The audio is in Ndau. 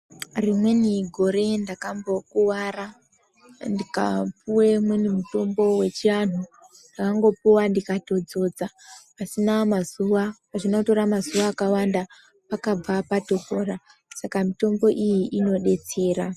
Rimweni gore ndakambokuwara ndikupuwe imweni mutombo yechianthu ndakangopuwa ndikatodzodza pasina mazuwa azvina kutora mazuwa akawanda pakabva patopora saka mitombo iyi inodetsera.